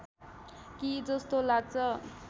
कि जस्तो लाग्छ